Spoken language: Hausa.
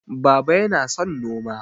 Baba yana son noma